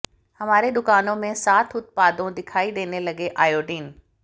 हमारे दुकानों में साथ उत्पादों दिखाई देने लगे आयोडीन